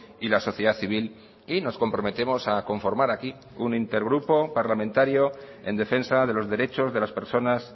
y la sociedad civil y nos comprometemos a conformar aquí un intergrupo parlamentario en defensa de los derechos de las personas